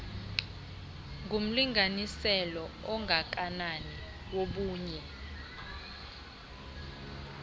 ngumlinganiselo ongakanani wobunye